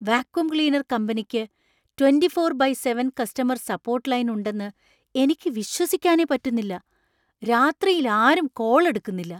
Vacuum cleaner കമ്പനിക്ക് twenty four by seven customer support line ഉണ്ടെന്ന് എനിക്ക് വിശ്വസിക്കാനേ പറ്റുന്നില്ല. രാത്രിയിൽ ആരും കോൾ എടുക്കുന്നില്ല.